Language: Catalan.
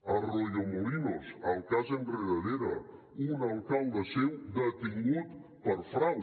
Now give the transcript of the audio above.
arroyomolinos el cas enredadera un alcalde seu detingut per frau